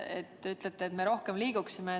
Te ülete, et me peame rohkem liikuma.